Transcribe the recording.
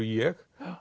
ég